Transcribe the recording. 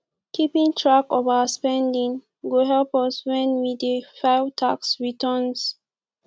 keeping track of our spending go help us when we dey file tax returns